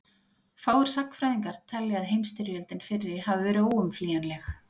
fáir sagnfræðingar telja að heimsstyrjöldin fyrri hafi verið óumflýjanleg